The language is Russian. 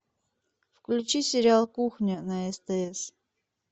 включи сериал кухня на стс